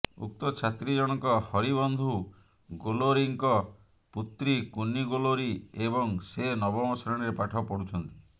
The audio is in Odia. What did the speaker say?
ଉକ୍ତ ଛାତ୍ରୀ ଜଣଙ୍କ ହରିବନ୍ଧୁ ଗୋଲୋରୀଙ୍କ ପୁତ୍ରୀ କୁନି ଗୋଲୋରୀ ଏବଂ ସେ ନବମ ଶ୍ରେଣୀରେ ପାଠ ପଢୁଛନ୍ତି